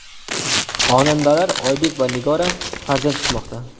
Xonandalar Oybek va Nigora farzand kutmoqda.